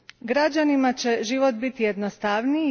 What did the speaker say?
Građanima će život biti jednostavniji.